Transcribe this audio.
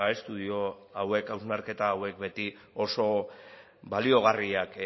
estudio hauek hausnarketa hauek beti oso baliogarriak